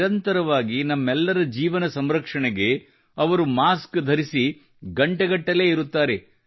ನಿರಂತರವಾಗಿ ನಮ್ಮೆಲ್ಲರ ಜೀವನ ಸಂರಕ್ಷಣೆಗೆ ಅವರು ಮಾಸ್ಕ್ ಧರಿಸಿ ಗಂಟೆಗಳಗಟ್ಟಲೆ ಇರುತ್ತಾರೆ